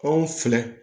Anw filɛ